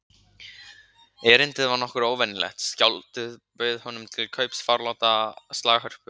Erindið var nokkuð óvenjulegt: Skáldið bauð honum til kaups forláta slaghörpu frá